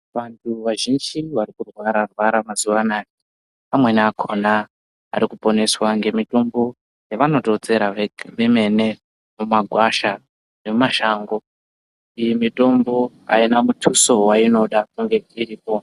Vantu vazhinji vari kurwara rwara mazuva anaya amweni akona ari kuponeswa nge mitombo yevanoto tsera vemene mu magwasha nemu mashango iyi mitombo ayina mutuso wainoda kunge iripo.